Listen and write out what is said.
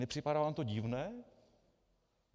Nepřipadá vám to divné?